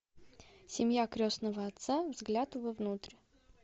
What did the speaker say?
семья крестного отца взгляд внутрь